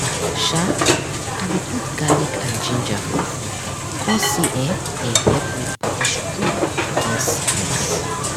sha i dey put garlic and ginger for food cause say eh dem help make body strong against sickness.